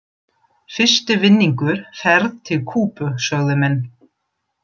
Fyrsti vinningur, ferð til Kúbu sögðu menn.